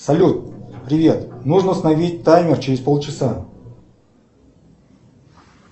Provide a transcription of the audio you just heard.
салют привет нужно установить таймер через полчаса